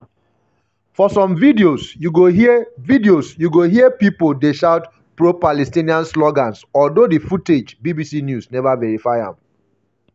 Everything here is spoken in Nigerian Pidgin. for some videosyou go hear videosyou go hear pipo dey shout pro-palestinian slogans although di footage bbc neva verify am.